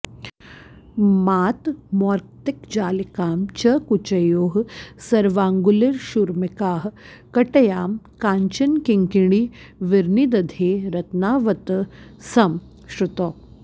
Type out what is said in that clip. मातर्मौक्तिकजालिकां च कुचयोः सर्वाङ्गुलीषूर्मिकाः कटयां काञ्चनकिङ्किणीर्विनिदधे रत्नावतंसं श्रुतौ